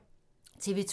TV 2